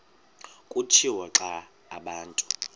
kutshiwo naxa abantu